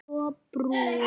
Svo brún.